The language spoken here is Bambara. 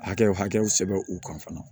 Hakɛ o hakɛw sɛbɛn u kan fana